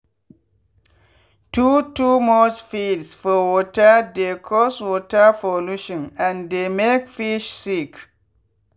too too much feeds for water dey cause water pollution and dey make fish sick.